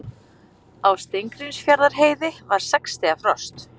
Á Steingrímsfjarðarheiði var sex stiga frost